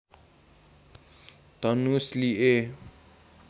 धनुष लिए